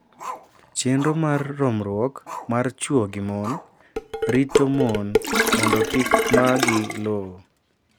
Chenro mar romruok mar chwo gi mon rito mon mondo kik maa gi lowo.